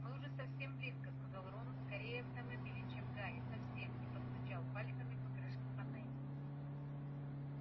мы уже совсем близко сказал рон скорее автомобилю чем гарри совсем и постучал пальцами по крышке панели